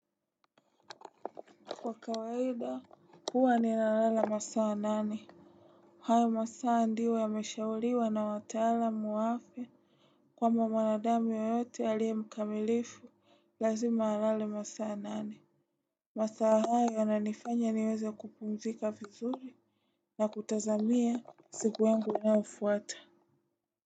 Kwa kawaida huwa ni nalala masaa nane. Hayo masaa ndio yameshauliwa na watalam wa afya kwamba mwanadamu yoyote alie mkamilifu lazima alale masaa nane. Masaa hayo na nifanya niweze kupumzika vizuri na kutazamia siku yangu inayofuata.